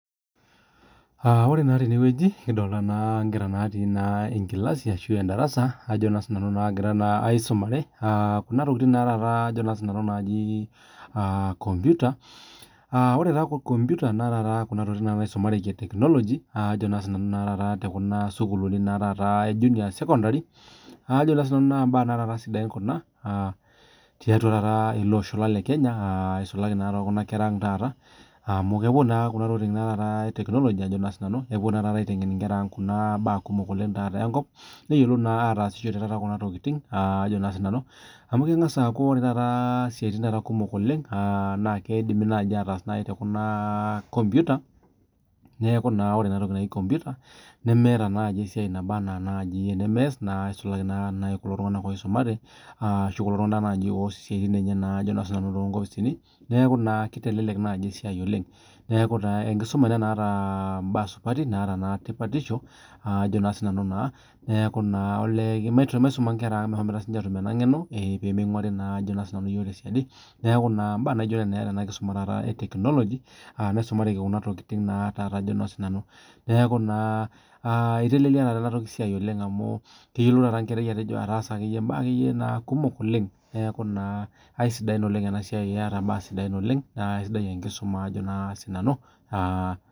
Ore naa tenewueji nikidolita enkera natii darasa nagira aisumare Kuna tokitin naaji kompita ore taa kompita naa Kuna tokitin nisumareki etekinoloji tekuna sukuulini ee junior sekondari naa mbaa sidain taata Kuna tiatua ele Osho lang lee Kenya eisulaki Kuna kera ang taata amu kepuo Kuna tokitin etekinoloji aiteng'en Kuna mbaa kumok enkop neyiolou naa atasishore Kuna tokitin amu keng'as aku ore esiatin kumok taata oleng naa kidimi naaji ataas tekompita neeku ore ena toki naaji kompita nemeeta naaji esiai nabaa ena enimias nisulaki naaji naa kulo tung'ana oisumare ashu kulo tung'ana oas esiatin enye too nkopisini neeku kitelelek naa esiai oleng neeku enkisuma nataa mbaa supati netaa naa tipatisho Ajo sinanu naa neeku olee maisuma Nkera ang mehomoite sinche atum ena ng'eno pee minguarii iyiok tee siadi neeku mbaa naijio Nena etaa enasiai etekinoloji nisumareki Kuna tokitin neeku etelelia taata enasiai oleng amu keyiolou taata enkera taasat mbaa kumok oleng neeku aisidai ena siai ketaa mbaa sidan oleng naa kisidai enkisuma